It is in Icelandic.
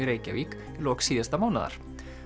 Reykjavík í lok síðasta mánaðar